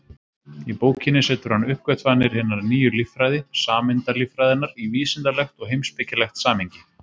Í bókinni setur hann uppgötvanir hinnar nýju líffræði, sameindalíffræðinnar, í vísindalegt og heimspekilegt samhengi.